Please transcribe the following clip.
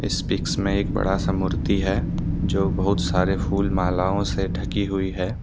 इस पिकस में एक बड़ा सा मूर्ति है जो बहुत सारे फूल मालाओं से ढकी हुई है।